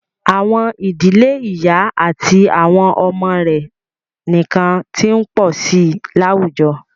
À̀wọn ìdílé ìyá àti àwọn ọmọ rẹ̀ nìkan ti ń pọ̀ sí i láwùjọ.